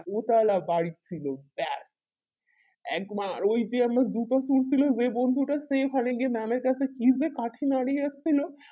দুতলা বাড়ি ছিল ব্যাস এক মার ওই যে আমরা দুটো সিং ছিল ওই বন্ধুটার সে দোকানে গিয়ে mam এর কাছে কি যে কাঠি নাড়িয়ে এসেছিলো